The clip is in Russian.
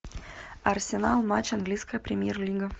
арсенал матч английская премьер лига